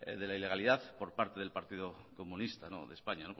de la ilegalidad por parte del partido comunista de españa